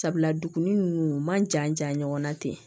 Sabula dugu nunnu u man jan ja ɲɔgɔnna ten